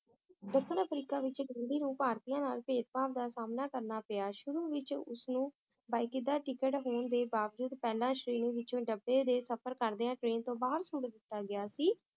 ਦੱਖਣ ਅਫ੍ਰੀਕਾ ਵਿਚ ਗਾਂਧੀ ਨੂੰ ਭਾਰਤੀਆਂ ਨਾਲ ਭੇਦ ਭਾਵ ਦਾ ਸਾਮਣਾ ਕਰਨਾ ਪਿਆ ਸ਼ੁਰੂ ਵਿਚ ਉਸਨੂੰ ਬਕਾਇਦਾ ਟਿਕਟ ਹੋਣ ਦੇ ਬਾਵਜੂਦ ਪਹਿਲਾਂ ਸ਼੍ਰੇਣੀ ਵਿਚੋਂ ਡੱਬੇ ਦੇ ਸਫ਼ਰ ਕਰਦਿਆਂ train ਤੋਂ ਬਾਹਰ ਸੁੱਟ ਦਿੱਤਾ ਗਿਆ ਸੀ